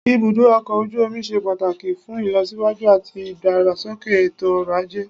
Ibùdó ọkọ̀ ojú omi ṣe pàtàkì fún ìlọsíwájú àti ìdàgbàsókè ètò ọ̀rọ̀ ajé.